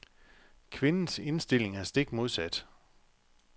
Kvindens indstilling er stik modsat.